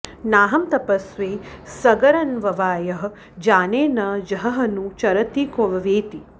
नाहं तपस्वी सगरन्ववायः जाने न जहह्नुः चरति क्ववेति